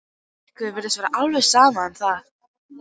Rikku virtist vera alveg sama um það.